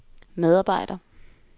medarbejder